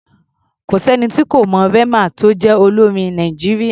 Kò sẹ́ni tí ò mọ Rema tó jẹ́ olórin ilẹ̀ Nàìjíríà.